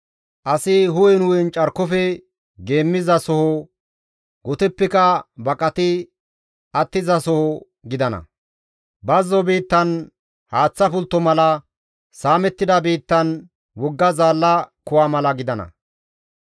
Asi hu7en hu7en carkofe geemmizasoho, goteppeka baqati attizasoho gidana; bazzo biittan haaththa pultto mala, saamettida biittan wogga zaalla kuwa mala gidana.